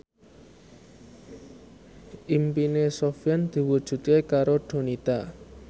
impine Sofyan diwujudke karo Donita